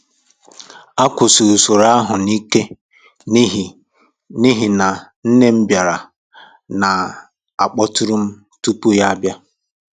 A kwụsịrị usoro ahụ um n’ike n’ihi n’ihi na nne m bịara na akpọtụrụ m tupu ya bịa